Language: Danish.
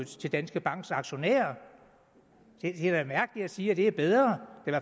til danske banks aktionærer det er da mærkeligt at sige at det er bedre